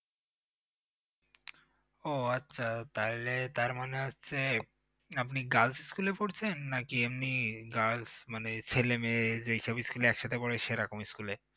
ও আচ্ছা তাইলে তার মানে হচ্ছে আপনি girls school এ পড়ছেন নাকি এমনি girls মানে ছেলে মেয়ে যেইসব school এ একসাথে পড়ে সে রকম school এ?